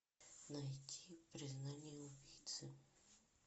найти признание убийцы